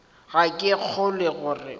ga ke kgolwe gore o